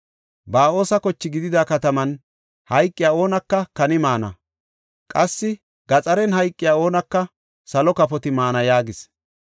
Ba7oosa koche gididi kataman hayqiya oonaka kani maana; qassi gaxaren hayqiya oonaka salo kafoti maana” yaagis.